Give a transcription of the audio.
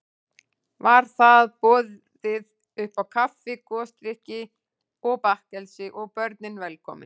Var þar boðið uppá kaffi, gosdrykki og bakkelsi, og börnin velkomin.